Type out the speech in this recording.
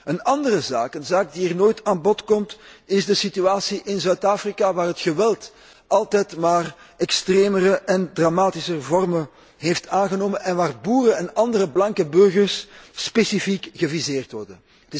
Een andere zaak, een zaak die hier nooit aan bod komt, is de situatie in Zuid Afrika, waar het geweld altijd maar extremere en dramatischere vormen aanneemt en waar boeren en andere blanke burgers specifiek geviseerd worden.